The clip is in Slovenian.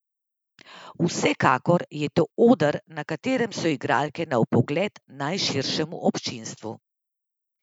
Vsekakor je to oder, na katerem so igralke na vpogled najširšemu občinstvu.